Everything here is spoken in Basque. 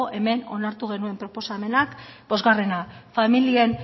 hemen onartu genuen proposamenak familien